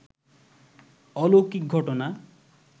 অলৌকিক ঘটনা